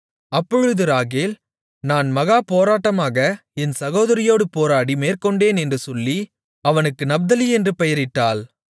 அப்பொழுது ராகேல் நான் மகா போராட்டமாக என் சகோதரியோடு போராடி மேற்கொண்டேன் என்று சொல்லி அவனுக்கு நப்தலி என்று பெயரிட்டாள்